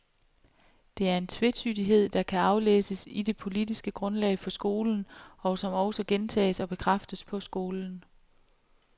Det er en tvetydighed, der kan aflæses i det politiske grundlag for skolen, og som også gentages og bekræftes på skolen.